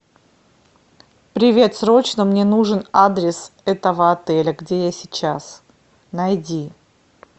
привет срочно мне нужен адрес этого отеля где я сейчас найди